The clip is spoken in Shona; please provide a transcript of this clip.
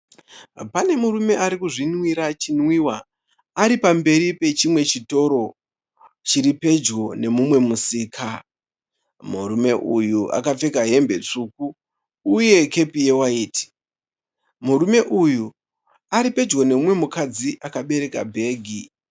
Pane murume arikuzvinwira chinwiwa ari pamberi pechimwe chitoro chiri pedyo nemumwe musika. Murume uyu akapfeka hembe tsvuku uye kepi yewaiti. Murume uyu aripedyo nemumwe mukadzi akabereka bhegi.